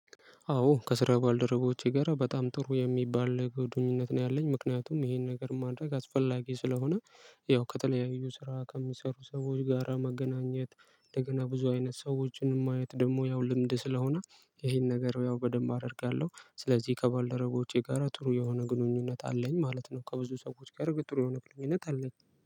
አዎ ከስራ ባልደረቦቼ ጋር በጣም ጥሩ የሚባል ግንኝነት ነው ያለኝ ምክንያቱም ይሄን ነገር ማድረግ አስፈላጊ ስለሆነ ያው ከተለያዩ ስራ ከሚሰሩ ሰዎች ጋራ መገናኘት። እንደገና ብዙ አይነት ሰዎችን ማየት ደግሞ ያው ልምድ ስለሆነ ይሄን ነገር ያው በደንብ አደርጋለሁ ስለዚህ ከባልደረቦቼ ጋር ጥሩ የሆነ ግንኙነት አለኝ ማለት ነው። ከብዙ ሰዎች ጋር ጥሩ የሆነ ግንኙነት አለኝ